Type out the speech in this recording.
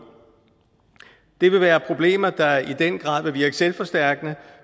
det vil være problemer der i den grad vil virke selvforstærkende